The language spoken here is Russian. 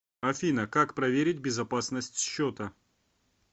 афина как проверить безопасность счета